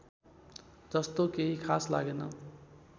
जस्तो केही खास लागेन